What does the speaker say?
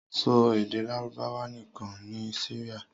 Sọ èdè Lárúbáwá nìkan ní Syria!